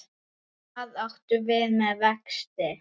Hvað áttu við með vexti?